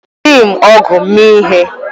Ejighị m ọ̀gu mee ihe.